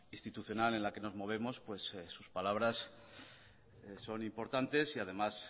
institucional en la que nos movemos pues sus palabras son importantes y además